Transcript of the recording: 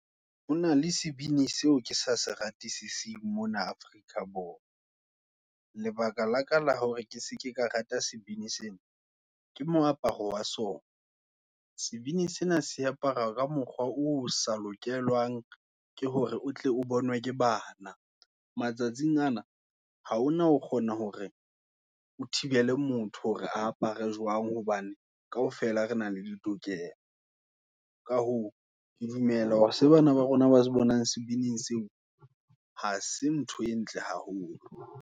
Ho na le sebini, seo ke sa seratisising, mona Afrika Borwa. Lebaka laka la hore, ke se ke ka rata sebini sena, ke mo aparo wa sona. Sebini sena se apara, ka mokgwa oo sa lokelwang, ke hore o tle o bonwe, ke bana. Matsatsing ana, haona o kgona hore, o thibele motho, hore apare jwang, hobane kaofela re na le ditokelo. Ka hoo, ke dumela hore seo, bana ba rona, ba se bonang, sebining seo, hase ntho e ntle haholo.